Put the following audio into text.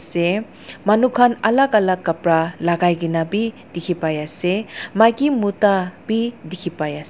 deh manu khan alak alak kapra lagai kena bhi dekhi pai ase maki mota bhi dekhi pai ase.